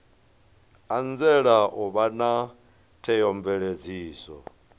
anzela u vha na theomveledziso